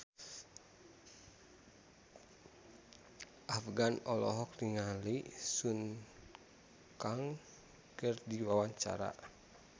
Afgan olohok ningali Sun Kang keur diwawancara